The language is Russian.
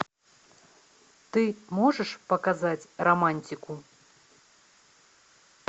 ты можешь показать романтику